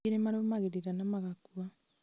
aingĩ nĩmarũmagĩrĩra na magakua